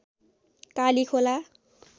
Kalikhola